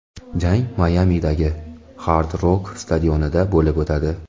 Jang Mayamidagi Hard Rock stadionida bo‘lib o‘tadi.